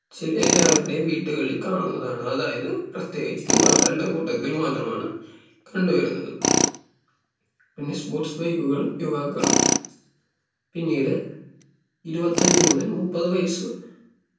ചി എല്ലാവരുടെയും വീടുകളിൽ കാണുന്നതാണ് അതായത് പ്രത്യേകിച്ച് യുവാക്കളുടെ കൂട്ടത്തിൽ മാത്രമാണ് കണ്ടു വരുന്നത് പിന്നെ sports bike കളും യുവാക്കളും പിന്നീട് ഇരുപത്തഞ്ച് മുതൽ മുപ്പത് വയസ്